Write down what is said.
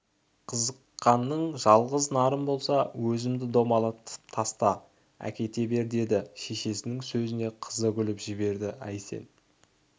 қызыққаның жалғыз нарым болса өзімді домалатып таста да әкете бер деді шешесінің сөзіне қызы күліп жіберді әй сен